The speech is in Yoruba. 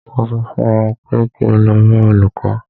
Mo sọ fún ọ pé kí o lọ bá olùkó!